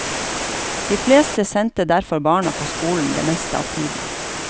De fleste sendte derfor barna på skolen det meste av tiden.